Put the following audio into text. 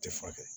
Tɛ furakɛ